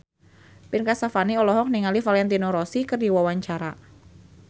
Ben Kasyafani olohok ningali Valentino Rossi keur diwawancara